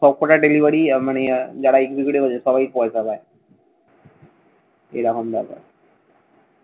সবকটা delivery মানে যারা সবাই পয়সা পায়। এরকম ব্যাপার।